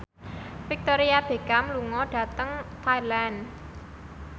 Victoria Beckham lunga dhateng Thailand